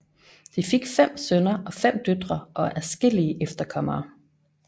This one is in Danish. De fik fem sønner og fem døtre og adskillige efterkommere